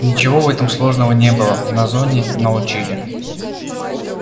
ничего в этом сложного не было на зоне научили